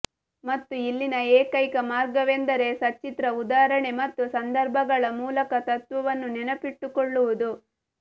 ಮತ್ತು ಇಲ್ಲಿನ ಏಕೈಕ ಮಾರ್ಗವೆಂದರೆ ಸಚಿತ್ರ ಉದಾಹರಣೆ ಮತ್ತು ಸಂದರ್ಭಗಳ ಮೂಲಕ ತತ್ವವನ್ನು ನೆನಪಿಟ್ಟುಕೊಳ್ಳುವುದು